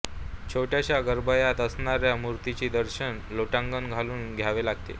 छोट्याश्या गाभार्यात असणार्या मूर्तीचे दर्शन लोटांगण घालून घ्यावे लागते